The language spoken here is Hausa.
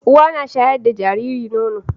Uwa na sharya da jariri nono